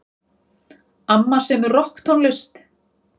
Amma semur rokktónlist.